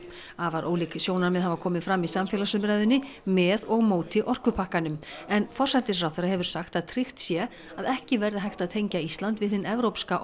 afar ólík sjónarmið hafa komið fram í samfélagsumræðunni með og móti orkupakkanum en forsætisráðherra hefur sagt að tryggt sé að ekki verði hægt að tengja Ísland við hinn evrópska